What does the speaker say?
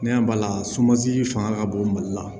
Ne y'a bali sumansi fanga ka bon mali la